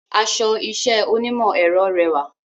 Aṣọ iṣẹ́ onímọ̀ ẹ̀rọ rẹwà